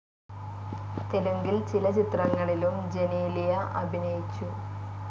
തെലുങ്കിൽ ചില ചിത്രങ്ങളിലും ജെനീലിയ അഭിനയിച്ചു.